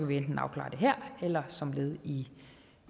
vi enten afklare det her eller som led i